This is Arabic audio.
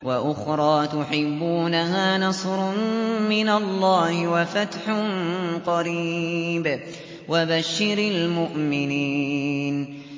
وَأُخْرَىٰ تُحِبُّونَهَا ۖ نَصْرٌ مِّنَ اللَّهِ وَفَتْحٌ قَرِيبٌ ۗ وَبَشِّرِ الْمُؤْمِنِينَ